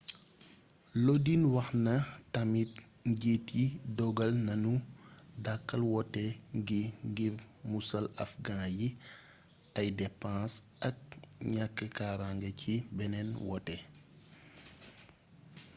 lodin wax na tamit njiit yi dogal nanu dàkkal woote gi ngir musal afghans yi ay depens ak ñàkk karange ci beneen wote